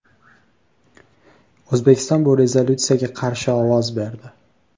O‘zbekiston bu rezolyutsiyaga qarshi ovoz berdi.